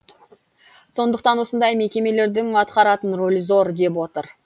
сондықтан осындай мекемелердің атқаратын рөлі зор деп отыр